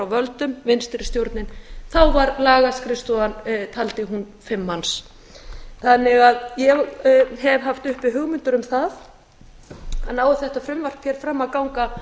völdum vinstri stjórnin taldi lagaskrifstofan fimm manns ég hef haft uppi hugmyndir um það að nái þetta frumvarp hér fram að ganga